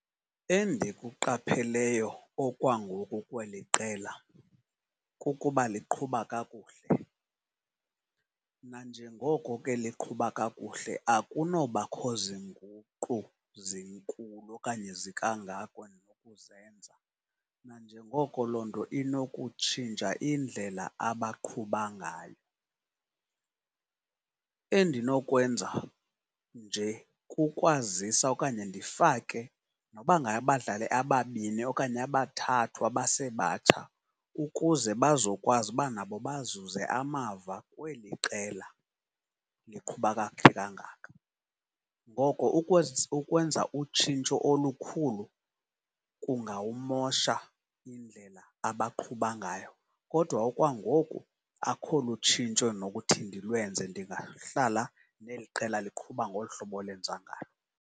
Endikuqapheleyo okwangoku kweli qela kukuba liqhuba kakuhle. Nanjengoko ke liqhuba kakuhle akunobakho zinguqu zinkulu okanye zikangako endinokuzenza, nanjengoko loo nto inokutshintsha indlela abaqhuba ngayo. Endinokwenza nje kukwazisa okanye ndifake noba ngabadlali ababini okanye abathathu abasebatsha ukuze bazokwazi uba nabo bazuze amava kweli qela liqhuba kakuhle kangaka. Ngoko ukwenza utshintsho olukhulu kungawumosha indlela abaqhuba ngayo kodwa okwangoku akho lutshintsho endinokuthi ndilwenze, ndingahlala neli qela liqhuba ngolu hlobo lenza ngalo.